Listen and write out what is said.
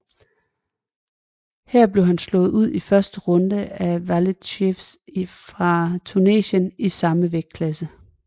Her blev han slået ud i første runde af Walid Cherif fra Tunesien i samme vægtklasse